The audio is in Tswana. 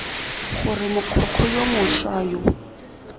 gore mogokgo yo mošwa yo